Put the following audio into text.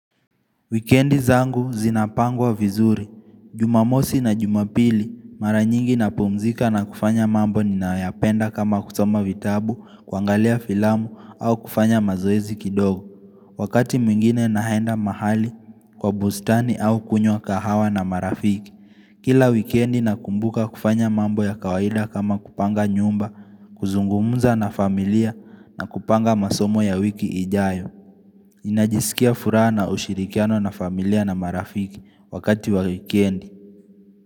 Wikendi zangu zinapangwa vizuri, jumamosi na jumapili, mara nyingi napumzika na kufanya mambo ninayoyapenda kama kusoma vitabu, kuangalia filamu au kufanya mazoezi kidogo. Wakati mwingine nahenda mahali kwa bustani au kunywa kahawa na marafiki. Kila wikendi nakumbuka kufanya mambo ya kawaida kama kupanga nyumba, kuzungumza na familia na kupanga masomo ya wiki ijayo. Najisikia furaha na ushirikiano na familia na marafiki wakati wa wekendi.